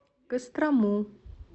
кострому